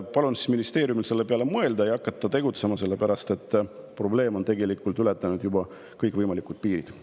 Palun ministeeriumil selle peale mõelda ja hakata tegutsema, sellepärast et probleem on tegelikult ületanud juba kõikvõimalikud piirid.